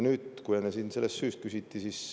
Enne siin küsiti selle süü kohta.